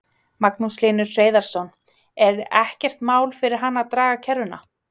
Magnús Hlynur Hreiðarsson: Er ekkert mál fyrir hann að draga kerruna?